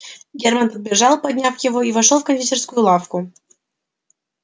герман подбежал поднял его и вошёл в кондитерскую лавку